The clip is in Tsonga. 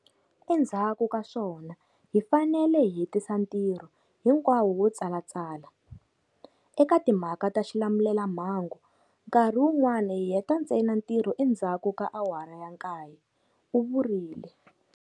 Endzhaku ka swona, hi fanele hi hetisa ntirho hinkwawo wo tsalatsala. Eka timhaka ta xilamulelamhangu, nkarhi wun'wana hi heta ntsena ntirho endzha ku ka awara ya 9, u vurile.